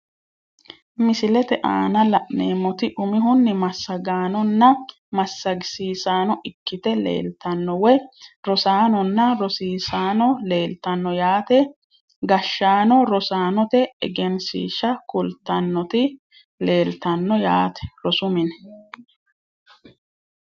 Misilete aana laneemoti umihuni masagaanonna masagisisano ikite leeltano woyi rosaanona rosiisano leeltano yaate gashaano rosanote egenshiisha kultanoti leeltano yaate rosu mine.